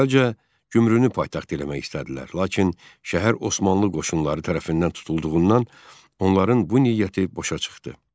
Əvvəlcə Gümrünü paytaxt eləmək istədilər, lakin şəhər Osmanlı qoşunları tərəfindən tutulduğundan onların bu niyyəti boşa çıxdı.